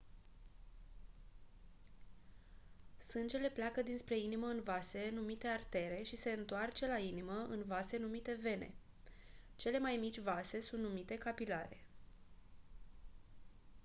sângele pleacă dinspre inimă în vase numite artere și se întoarce la inimă în vase numite vene cele mai mici vase sunt numite capilare